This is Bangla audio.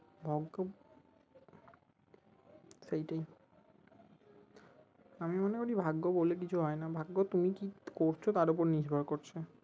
ভাগ্য সেইটাই আমি মনে করি ভাগ্য বলে কিছু হয় না ভাগ্য তুমি কি করছো তার উপর নির্ভর করছে